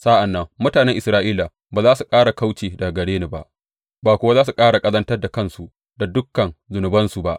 Sa’an nan mutanen Isra’ila ba za su ƙara kauce daga gare ni ba, ba kuwa za su ƙara ƙazantar da kansu da dukan zunubansu ba.